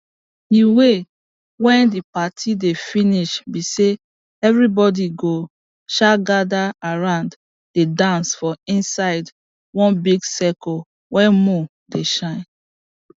the way wey the party dey finish be say everybody go um gather round dey dance for inside wan big circle wen moon dey shine